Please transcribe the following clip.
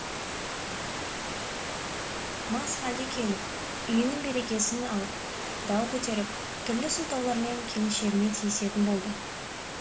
мас халде келіп үйінің берекесін алып дау көтеріп түрлі сылтаулармен келіншегіне тиісетін болды